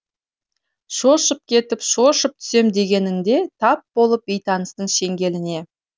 шошып кетіп шоршып түсем дегенінде тап болып бейтаныстың шеңгеліне